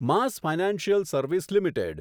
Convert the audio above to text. mass financial service limited